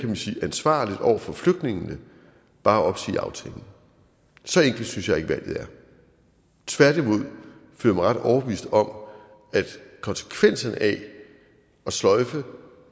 man sige ansvarligt over for flygtningene bare at opsige aftalen så enkelt synes jeg ikke valget er tværtimod føler jeg mig ret overbevist om at konsekvenserne af at sløjfe